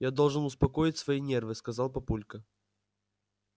я должен успокоить свои нервы сказал папулька